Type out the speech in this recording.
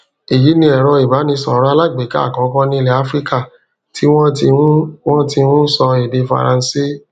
èyí ni èrọ ìbánisọ̀rọ̀ alágbèéká àkọ́kọ́ ní ilẹ̀ áfíríkà tí wọ́n ti ń wọ́n ti ń sọ èdè faransé